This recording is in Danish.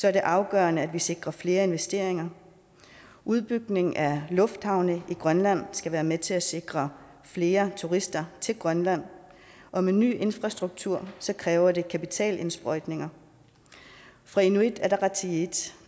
er det afgørende at vi sikrer flere investeringer udbygningen af lufthavne i grønland skal være med til at sikre flere turister til grønland og med ny infrastruktur kræver det kapitalindsprøjtninger fra inuit ataqatigiits